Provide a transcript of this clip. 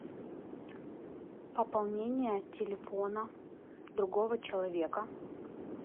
пополнение телефона другого человека